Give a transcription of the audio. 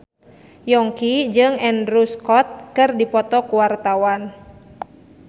Yongki jeung Andrew Scott keur dipoto ku wartawan